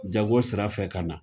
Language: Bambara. Jago sira fɛ ka na